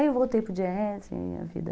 Aí eu voltei para o jazz e a vida...